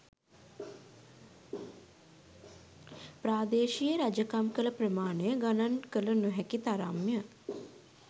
ප්‍රාදේශීය රජකම් කළ ප්‍රමාණය ගණන් කළ නො හැකි තරම් ය.